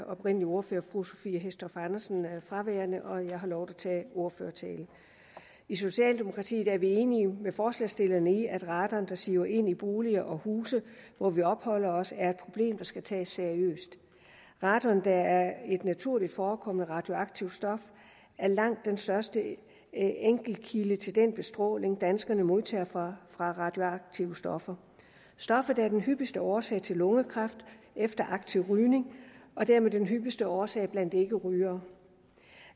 oprindelige ordfører fru sophie hæstorp andersen fraværende og jeg har lovet at tage ordførertalen i socialdemokratiet er vi enige med forslagsstillerne i at radon der siver ind i boliger og huse hvor vi opholder os er et problem der skal tages seriøst radon der er et naturligt forekommende radioaktivt stof er langt den største enkeltkilde til den bestråling danskerne modtager fra radioaktive stoffer stoffet er den hyppigste årsag til lungekræft efter aktiv rygning og er dermed den hyppigste årsag blandt ikkerygere